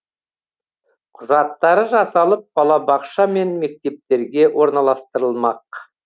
құжаттары жасалып балабақша мен мектептерге орналастырылмақ